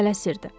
O tələsirdi.